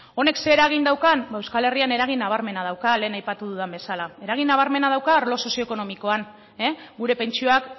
honek zein eragin daukan ba euskal herrian eragin nabarmena dauka lehen aipatu dudan bezala eragin nabarmena dauka arlo sozioekonomikoan gure pentsioak